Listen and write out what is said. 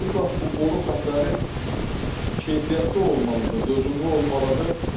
Mütləq bu boru xəttləri keyfiyyətli olmalıdır, dözümlü olmalıdır.